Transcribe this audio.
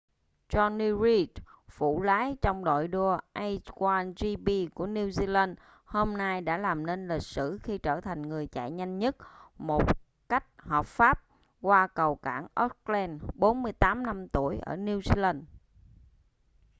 jonny reid phụ lái trong đội đua a1gp của new zealand hôm nay đã làm nên lịch sử khi trở thành người chạy nhanh nhất một cách hợp pháp qua cầu cảng auckland 48 năm tuổi ở new zealand